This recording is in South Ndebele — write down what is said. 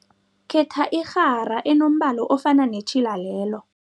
Khetha irhara enombala ofana netjhila lelo.